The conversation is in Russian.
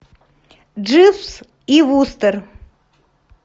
дживс и вустер